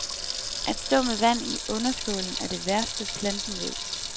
At stå med vand i underskålen er det værste, planten ved.